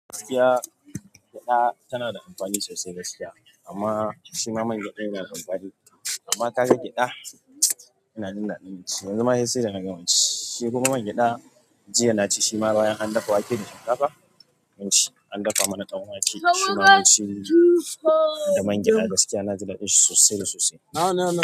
Giaskiya gyaɗa tana da amfani sosai ga gaskiya amma shima man gyaɗa yana da amfani. Amma kaga gyaɗa tana jin daɗin shi. Yanzu ma sai da na gama ci, shi kuma man gyaɗa, jiya na ci shi ma bayan an dafa wake da shinkafa naci, an dafa mana ɗan wake. Shima munci da man gyaɗa gaskiya na jin daɗin shi sosai da sosai.